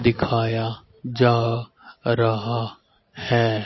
दिखाया जा रहा हैं।